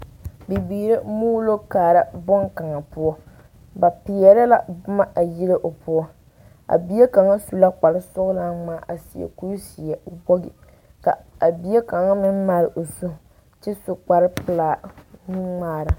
Bibiiri la muulo kaara boŋkaŋa poɔ ba peɛrɛ la boma a hire o poɔ a bie kaŋa su la kpar sɔgelaa ŋmaa a seɛ kuri zeɛ wogi kaa a bie kaŋ meŋ maale o zu kyɛ su kpar pelaa nuŋmaara